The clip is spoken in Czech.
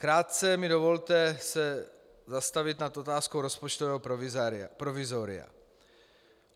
Krátce mi dovolte se zastavit nad otázkou rozpočtového provizoria.